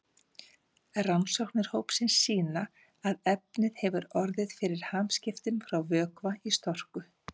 Rannsóknir hópsins sýna að efnið hefur orðið fyrir hamskiptum frá vökva í storku.